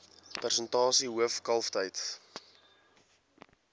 persentasie hoof kalftyd